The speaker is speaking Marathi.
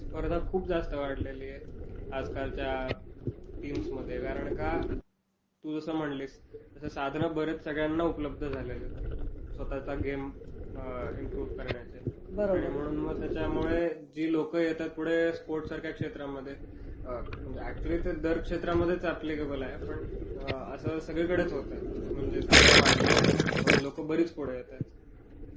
एक्साक्टली. स्पर्धा खूप जास्त वाढलेलीय आजकालच्या टीम्समध्ये. कारण का, तू जसं म्हणलीस, तसं साधनं बरीच सगळ्यांना उपलब्ध झाली आहेत स्वतःचा गेम इंप्रूव्ह करण्याचे. बरोबर. आणि मग जी लोकं येतात पुढे स्पोर्ट्ससारख्या क्षेत्रामध्ये, म्हणजे अॅकचुली ते दर क्षेत्रामध्येच अॅप्लीकेबल आहे.पण असं सगळीकडेच होतंय. म्हणजे साधनं वाढलीयत, म्हणून लोकं बरीच पुढं येतायत.